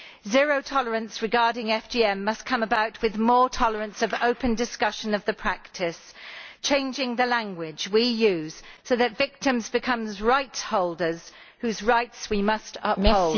Zero tolerance regarding FGM must come about through more tolerance of open discussion of the practice, changing the language we use so that victims become right holders whose rights we must uphold.